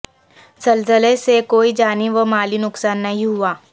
زلزلے سے کوئی جانی و مالی نقصان نہیں ہوا